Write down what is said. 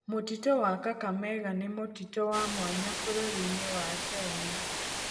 Mũtitũ wa Kakamega nĩ mũtitũ wa mwanya bũrũri-inĩ wa Kenya.